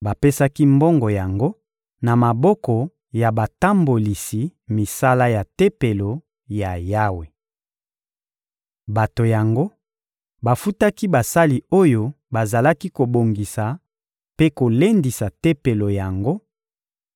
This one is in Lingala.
Bapesaki mbongo yango na maboko ya batambolisi misala ya Tempelo ya Yawe. Bato yango bafutaki basali oyo bazalaki kobongisa mpe kolendisa Tempelo yango;